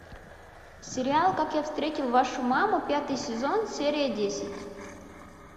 сериал как я встретил вашу маму пятый сезон серия десять